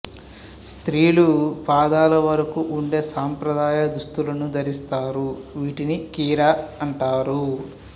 స్త్రీలు పాదల వరకు ఉండే సంప్రదాయ దుస్తులను ధరిస్తారు వీటిని కిరా అంటారు